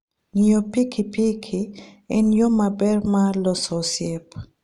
Ng'iyo pikipiki en yo maber mar loso osiep.